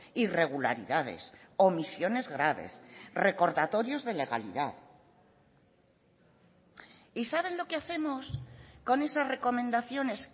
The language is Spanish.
irregularidades omisiones graves recordatorios de legalidad y saben lo que hacemos con esas recomendaciones